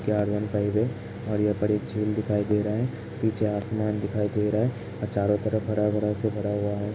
ये आर वन फाइफ है और यह बड़ी झील दिखाई दे रहा है पीछे आसमान दिखाई दे रहा है आ चारो तरफ हरा भरा से भरा हुआ --